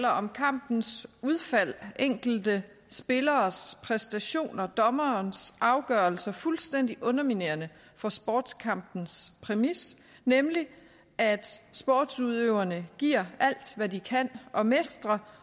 om kampens udfald enkelte spilleres præstationer og dommerens afgørelser fuldstændig underminerende for sportskampens præmis nemlig at sportsudøvere giver alt hvad de kan og mestrer